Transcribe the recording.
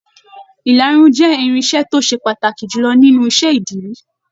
Ìlarun jẹ irinṣẹ́ to se pàtàkì jùlọ nínú iṣẹ ìdírí.